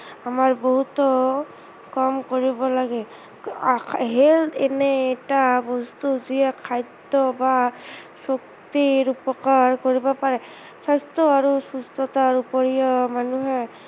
আমাৰ বহুতো কাম কৰিব লাগে health এনে এটা বস্তু যিয়ে খাদ্য় বা সুস্থিৰ উপকাৰ কৰিব পাৰে, স্ৱাস্থ্য় আৰু সুস্থতাৰ উপৰিও মানুহে